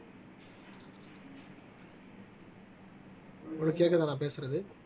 உங்களுக்கு கேக்குதா நான் பேசுறது